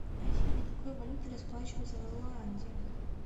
афина какой валютой расплачиваются в руанде